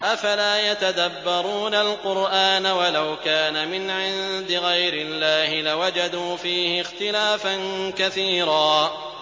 أَفَلَا يَتَدَبَّرُونَ الْقُرْآنَ ۚ وَلَوْ كَانَ مِنْ عِندِ غَيْرِ اللَّهِ لَوَجَدُوا فِيهِ اخْتِلَافًا كَثِيرًا